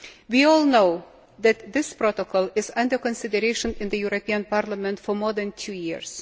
We all know that this protocol has been under consideration in the European Parliament for more than two years.